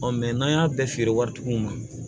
n'an y'a bɛɛ feere waritigiw ma